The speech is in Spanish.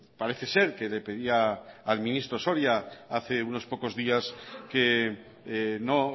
parece ser que le pedía al ministro soria hace unos pocos días que no